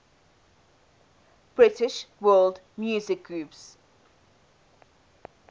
british world music groups